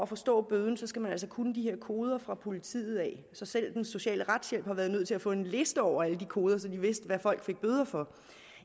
forstå bøden altså kunne de her koder fra politiet så selv den sociale retshjælp har været nødt til at få en liste over alle de koder så de ved hvad folk får bøder for